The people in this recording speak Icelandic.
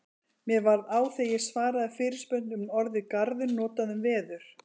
Mér varð á þegar ég svaraði fyrirspurn um orðið garður notað um veður.